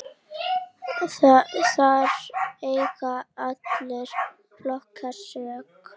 Þar eiga allir flokkar sök.